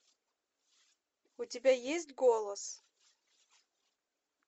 у тебя есть голос